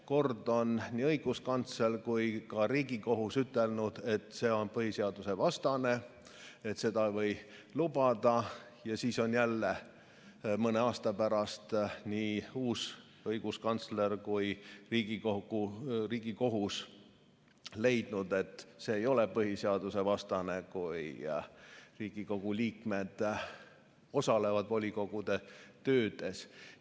Kord on nii õiguskantsler kui ka Riigikohus ütelnud, et see on põhiseadusvastane, et seda ei või lubada, ja siis on jälle mõne aasta pärast nii uus õiguskantsler kui ka Riigikohus leidnud, et see ei ole põhiseadusvastane, kui Riigikogu liikmed osalevad volikogude töös.